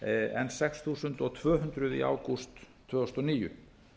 en sex þúsund tvö hundruð í ágúst tvö þúsund og níu